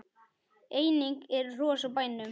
Einnig eru hross á bænum.